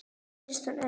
Finnst hún örugg.